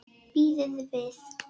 Bíðið við!